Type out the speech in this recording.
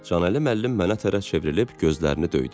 Canəli müəllim mənə tərəf çevrilib gözlərini döydü.